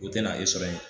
O tɛna e sɔrɔ ye